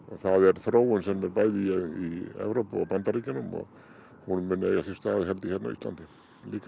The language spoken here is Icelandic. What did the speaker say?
þróun sem er bæði í Evrópu og Bandaríkjunum og mun eiga sér stað hér á Íslandi líka